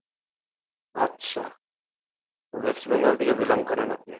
আচ্ছা west bengal থেকে belong করেন আপনি?